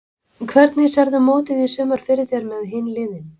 Hvernig sérðu mótið í sumar fyrir þér með hin liðin?